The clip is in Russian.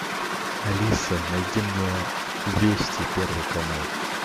алиса найди мне вести первый канал